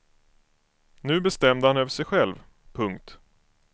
Nu bestämde han över sig själv. punkt